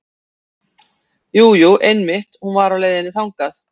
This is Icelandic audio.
Jú, jú einmitt hún var á leiðinni þangað.